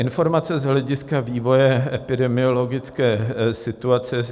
Informace z hlediska vývoje epidemiologické situace.